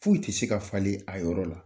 Foyi tɛ se ka falen a yɔrɔ la.